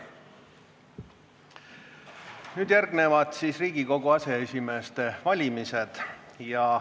Nüüd järgneb Riigikogu aseesimeeste valimine.